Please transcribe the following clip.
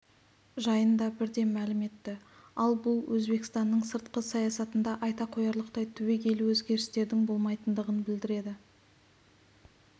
жайында бірден мәлім етті ал бұл өзбекстанның сыртқы саясатында айта қоярлықтай түбегейлі өзгерістердің болмайтындығын білдіреді